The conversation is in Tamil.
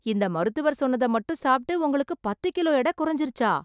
இந்த மருத்துவர் சொன்னத மட்டும் சாப்பிட்டு உங்களுக்கு பத்து கிலோ எட குறைஞ்சிருச்சா ?